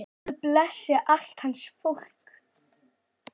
Guð blessi allt hans fólk.